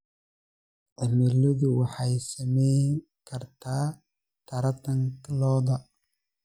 Cimiladu waxay saameyn kartaa taranta lo'da.